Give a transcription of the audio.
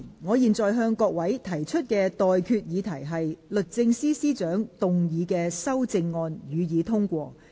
我現在向各位提出的待決議題是：律政司司長動議的修正案，予以通過。